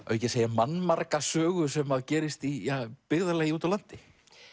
mannmarga sögu sem gerist í byggðarlagi úti á landi